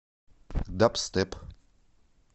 дабстеп